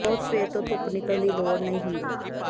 ਬਹੁਤ ਸਵੇਰ ਤੋਂ ਧੁੱਪ ਨਿਕਲਣ ਦੀ ਲੋੜ ਨਹੀਂ ਹੁੰਦੀ